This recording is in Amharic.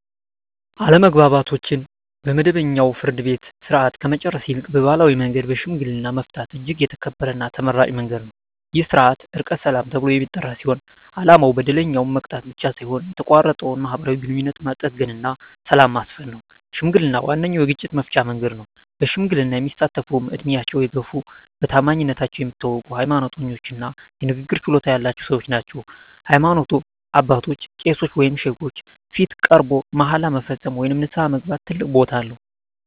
አለመግባባቶችን በመደበኛው የፍርድ ቤት ሥርዓት ከመጨረስ ይልቅ በባሕላዊ መንገድ በሽምግልና መፍታት እጅግ የተከበረና ተመራጭ መንገድ ነው። ይህ ሥርዓት "ዕርቀ ሰላም" ተብሎ የሚጠራ ሲሆን፣ ዓላማው በደለኛውን መቅጣት ብቻ ሳይሆን የተቋረጠውን ማኅበራዊ ግንኙነት መጠገንና ሰላምን ማስፈን ነው። ሽምግልና ዋነኛው የግጭት መፍቻ መንገድ ነው። በሽምግልና የሚሳተፍትም ዕድሜያቸው የገፋ፣ በታማኝነታቸው የሚታወቁ፣ ሃይማኖተኛ እና የንግግር ችሎታ ያላቸው ሰዎች ናቸው። በሃይማኖት አባቶች (ቄሶች ወይም ሼኮች) ፊት ቀርቦ መሃላ መፈጸም ወይም ንስሐ መግባት ትልቅ ቦታ አለው።